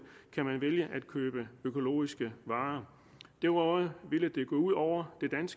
kan man vælge at købe økologiske varer derudover ville det gå ud over